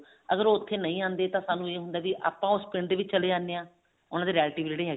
ਅਗਰ ਉਹ ਉੱਥੇ ਨਹੀਂ ਆਉਂਦੇ ਤਾਂ ਆਪਾਂ ਨੂੰ ਇਹ ਹੁੰਦਾ ਵੀ ਅਸੀਂ ਉਸ ਪਿੰਡ ਦੇ ਵਿੱਚ ਚਲੇ ਜਾਂਦੇ ਹਾਂ ਉਹਨਾ ਦੇ relative ਜਿਹੜੇ